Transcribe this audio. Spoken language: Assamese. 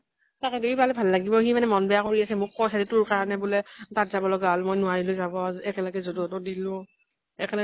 তাকেটো ই পালে ভাল লাগিব। মানে মন বেয়া কৰি আছে, মোক কৈছে তোৰ কাৰণে বুলে তাত যাব লগা হল। মই নোৱাৰিলো যাব। একেলগে যদু হতৰ দিলো একেলগে